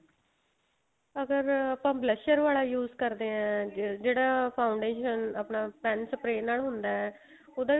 ਅਗਰ ਆਪਾਂ blusher ਵਾਲਾ use ਕਰਦੇ ਆ ਜਿਹੜਾ foundation ਆਪਣਾ pen spray ਨਾਲ ਹੁੰਦਾ ਉਹਦੇ